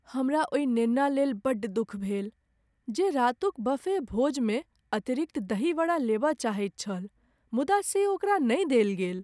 हमरा ओहि नेना लेल बड्ड दुख भेल जे रातुक बफे भोजमे अतिरिक्त दही वड़ा लेबय चाहैत छल मुदा से ओकरा नहि देल गेल।